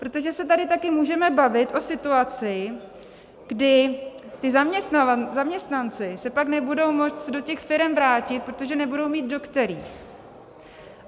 Protože se tady taky můžeme bavit o situaci, kdy ti zaměstnanci se pak nebudou moct do těch firem vrátit, protože nebudou mít do kterých.